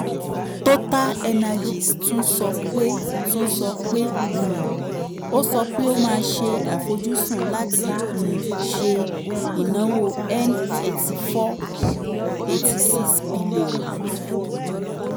totalenergies tún sọ pé tún sọ pé um ó sọ pé ó máa ṣe àfojúsùn láti um ṣe ìnáwó n eighty four point eight six bílíọ̀nù